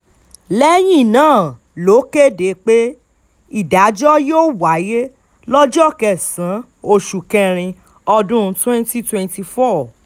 lẹ́yìn náà ló kéde pé ìdájọ́ yóò wáyé lọ́jọ́ kẹsàn-án oṣù kẹrin ọdún twenty twenty four